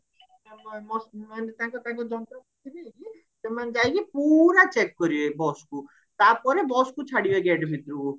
bus ମାନେ ତାଙ୍କ ତାଙ୍କ ଜନ୍ତ୍ର ନେଇକି ସେମାନେ ଯାଇକି ପୁରା check କରିବେ busକୁ ତାପରେ bus କୁ ଛାଡିବେ gate ଭିତରକୁ